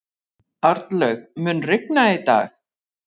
Arnlaug, mun rigna í dag?